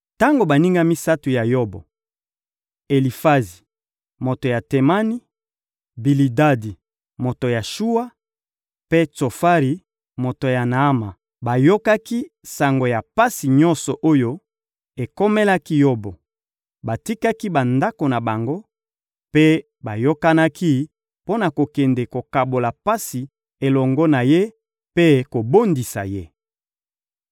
Tango baninga misato ya Yobo —Elifazi, moto ya Temani; Bilidadi, moto ya Shuwa; mpe Tsofari, moto ya Naama— bayokaki sango ya pasi nyonso oyo ekomelaki Yobo, batikaki bandako na bango mpe bayokanaki mpo na kokende kokabola pasi elongo na ye mpe kobondisa ye.